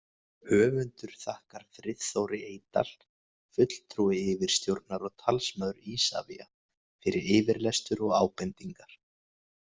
Höfundur þakkar Friðþóri Eydal, fulltrúi yfirstjórnar og talsmaður Isavia, fyrir yfirlestur og ábendingar.